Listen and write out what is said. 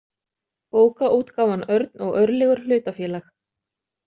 Bókaútgáfan Örn og Örlygur hlutafélag